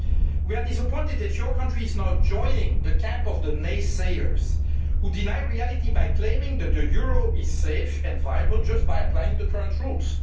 it. We are disappointed that your country is now joining the camp of the naysayers who deny reality by claiming that the euro is safe and viable just by applying the current rules.